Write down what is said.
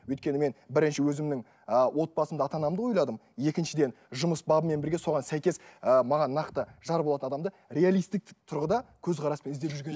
өйткені мен бірінші өзімнің ы отбасымды ата анамды ойладым екіншіден жұмыс бабымен бірге соған сәйкес ыыы маған нақты жар болатын адамды реалистік тұрғыда көзқараспен іздеп жүрген